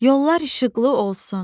Yollar işıqlı olsun.